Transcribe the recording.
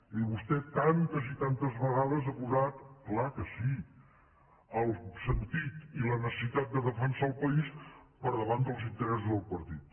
i vostè tantes i tantes vegades ha posat clar que sí el sentit i la necessitat de defensar el país per davant dels interessos del partit